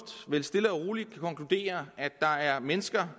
vel stille og roligt kan konkludere at der er mennesker